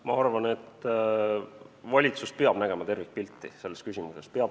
Ma arvan, et valitsus peab nägema tervikpilti selles küsimuses.